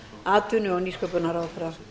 atvinnu og nýsköpunarráðherra